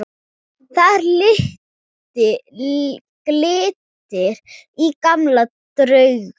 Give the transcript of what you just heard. Þar glittir í gamla drauga.